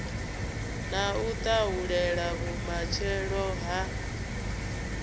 na u tahulela vhumatshelo ha